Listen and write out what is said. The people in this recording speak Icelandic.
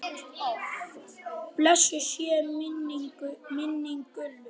Blessuð sé minning Gullu.